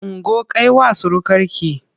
Ungo kai wa surukarki!